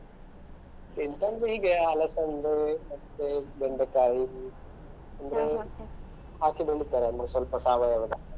ಎಂತಂತ್ರೆ ಹೀಗೆ ಅಲಸಂಡೆ ಮತ್ತೆ ಬೆಂಡೆಕಾಯಿ ಹಾಕಿ ಬೆಳಿತಾರೆ ಸ್ವಲ್ಪ ಸಾವಯವದ .